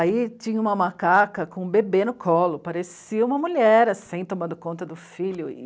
Aí tinha uma macaca com um bebê no colo, parecia uma mulher, assim, tomando conta do filho.